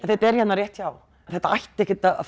þetta er hérna rétt hjá það ætti ekkert að